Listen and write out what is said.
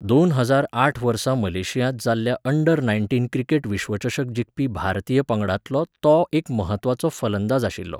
दोन हजार आठ वर्सा मलेशियांत जाल्ल्या अंडर नायन्टीन क्रिकेट विश्वचषक जिखपी भारतीय पंगडांतलो तो एक म्हत्वाचो फलंदाज आशिल्लो.